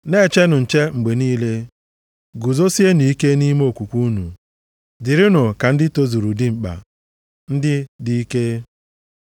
Na-echenụ nche mgbe niile, guzosienụ ike nʼime okwukwe unu. Dịrịnụ ka ndị tozuru dimkpa, ndị dị ike.